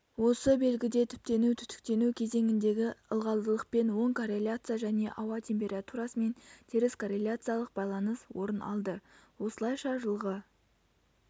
осы белгіде түптену-түтіктену кезеңіндегі ылғалдылықпен оң корреляция және ауа температурасымен теріс корреляциялық байланыс орын алды осылайша жылғы